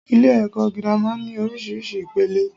Ilè èkó girama ní orísirísi ìpele